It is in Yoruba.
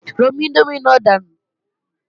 Romi índómì náà dànù!